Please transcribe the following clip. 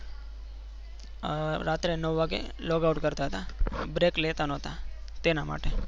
રાત્રે નવ વાગે log out કરતા break લેતા નોહોતા તેના માટે.